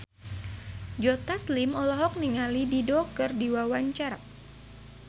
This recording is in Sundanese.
Joe Taslim olohok ningali Dido keur diwawancara